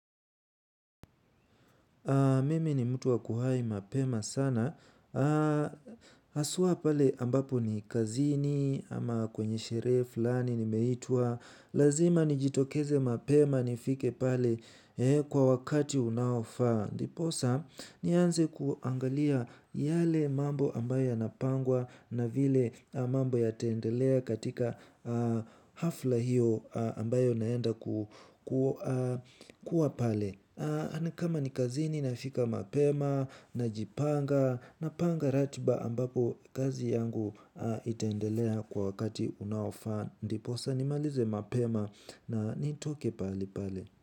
Mimi ni mtu wa kuhai mapema sana. Haswa pale ambapo ni kazini ama kwenye sherehe fulani nimeitwa. Lazima nijitokeze mapema nifike pale kwa wakati unaofaa. Ndiposa nianze kuangalia yale mambo ambayo yanapangwa na vile mambo yataendelea katika hafla hiyo ambayo naenda kuwa pale. Kama ni kazini nafika mapema najipanga napanga ratiba ambapo kazi yangu itaendelea kwa wakati unaofaa. Ndiposa nimalize mapema na nitoke pahali pale.